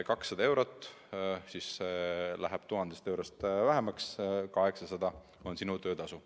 200 eurot läheb 1000 eurost vähemaks, 800 on sinu töötasu.